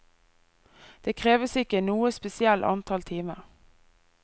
Det kreves ikke noe spesielt antall timer.